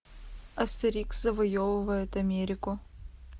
астерикс завоевывает америку